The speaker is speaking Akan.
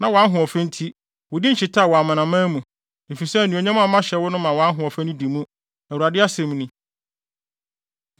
Na wʼahoɔfɛ nti, wo din hyetaa wɔ amanaman mu, efisɛ anuonyam a mahyɛ wo no ma wʼahoɔfɛ no di mu, Awurade asɛm ni.